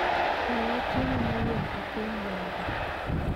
Kwaya chiemo mowuok e piny Java